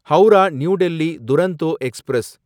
Howrah New Delhi Duronto express